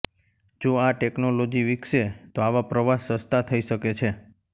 જો આ ટેકનોલોજી વિકસે તો આવા પ્રવાસ સસ્તા થઈ શકે છે